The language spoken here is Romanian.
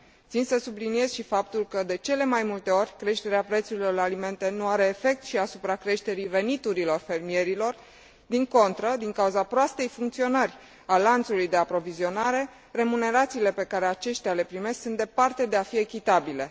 Țin să subliniez și faptul că, de cele mai multe ori, creșterea prețurilor la alimente nu are efect și asupra creșterii veniturilor fermierilor, din contră, din cauza proastei funcționări a lanțului de aprovizionare remunerațiile pe care aceștia le primesc sunt departe de a fi echitabile.